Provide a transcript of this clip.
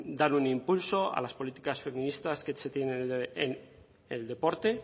dar un impulso a las políticas feministas que se tienen en el deporte